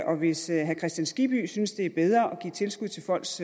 og hvis herre hans kristian skibby synes det er bedre at give tilskud til folks